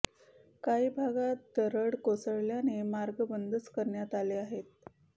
काही भागात दरड कोसळ्याने मार्ग बंदच करण्यात आले आहेत